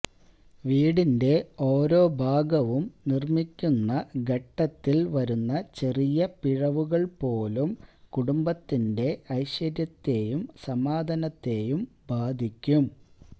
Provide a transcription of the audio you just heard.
വീടിന്റെ ഓരോ ഭാഗവും നിർമ്മിക്കുന്ന ഘത്തത്തിൽ വരുത്ത ചെറിയ പിഴവുകൾ പോലും കുടുംബത്തിന്റെ ഐശ്വര്യത്തെയും സമാധാനത്തെയും ബധിക്കും